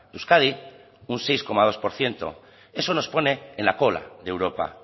euskadi un seis coma dos por ciento eso nos pone en la cola de europa